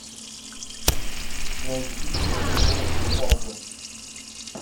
найди на тв усадьба